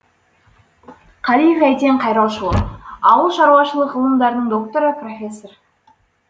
қалиев әйтен қайрошұлы ауыл шаруашылық ғылымдарының докторы профессор